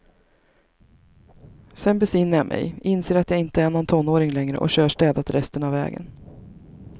Sedan besinnar jag mig, inser att jag inte är någon tonåring längre och kör städat resten av vägen.